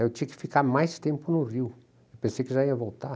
Aí eu tinha que ficar mais tempo no Rio, pensei que já ia voltar.